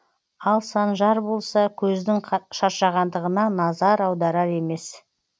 ал санжар болса көздің шаршағандығына назар аударар емес